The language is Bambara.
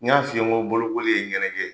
N y'a f'i ye n ko bolokoli ye ye ɲɛnajɛ ye.